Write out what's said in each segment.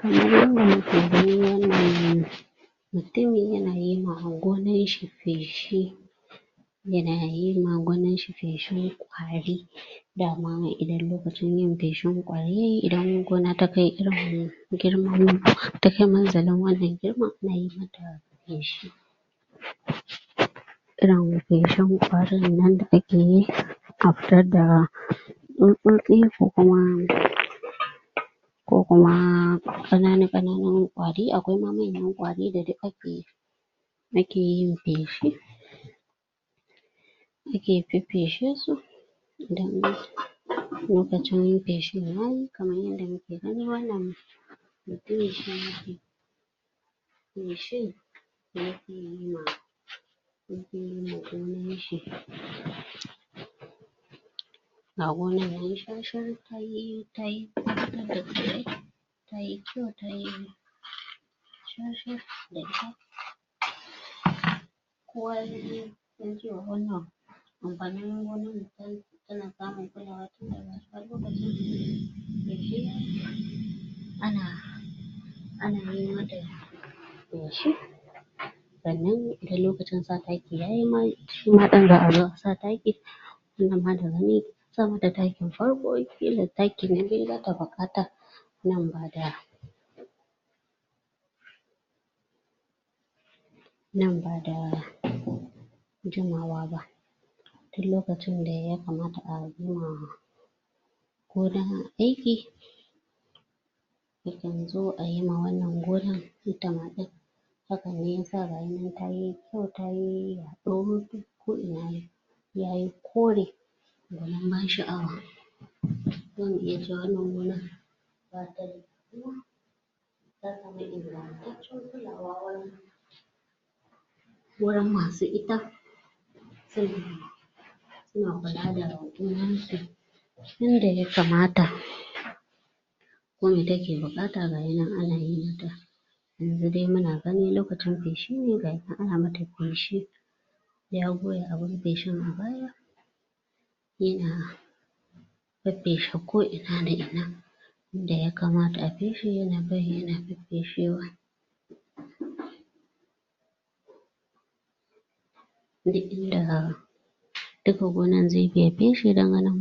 Kamar yadda muke gani wannan mutumi yana yi ma gonan shi feshi yana yi ma gonan shi feshin ƙwari dama idan lokacin yin feshin ƙwari yayi idan gona ta kai irin girman ta kai munzalin wannan girman ana yi mata feshi irin feshin ƙwarin nan da ake yi a fitar da tsutsotsi ko kuma ko kuma ƙanana ƙananan ƙwari akwai ma manyan ƙwari da duk ake ake yin feshi ake feffeshe su idan lokacin feshin yayi kaman yadda muke gani wannan feshin da yake yi ma da yake yi man gonan shi ga gonan yayi shar shar tai ta fitar da tsirrai tayi kyau tayi shar shar da ita amfanin gonan tana samun kulawa ana yi mata feshi sannan idan lokacin sa taki yayi shima ɗin za a zo a sa taki wannan ma da gani an sa mata takin farko ƙila taki na biyu zata buƙata nan ba da nan ba da jimawa ba duk lokacin da ya kamata ayi ma gona aiki yakan zo ayi wannan gonan ita ma ɗin haka ne yasa gayinan kayi kyau tayi yaɗo ko ina yayyi kore gwanin ban sha'awa zamu iya cewa wannan gonan ta samu ingantaccen kulawa wurin wurin masu ita suna kula da gonan su yanda ya kamata wanda take buƙata gayinan ana yi mata yanzu dai muna gani lokacin feshi ne gayi nan ana yi mata feshi ya goya abun feshin a baya yana feffeshe ko ina da ina inda ya kamata a feshe yana bi yana feffeshewa duk inda duka gonan zai bi ya feshe don ganin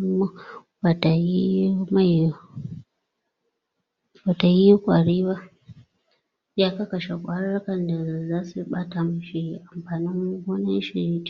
bata yi mai bata yi ƙwari ba ya kakkashe ƙwarurrukan da zasu iya ɓata mishi amfanin gonan shi.